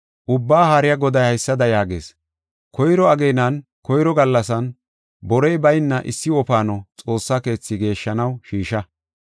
Ubbaa Haariya Goday haysada yaagees: “Koyro ageenan, koyro gallasan borey bayna issi wofaano Xoossa keethaa geeshshanaw shiisha.